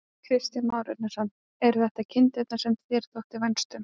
Kristján Már Unnarsson: Eru þetta kindurnar sem þér þótti vænst um?